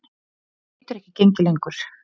Þetta getur ekki gengið lengur.